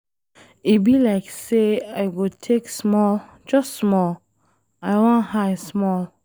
E be like say I go take small, just small. I wan high small.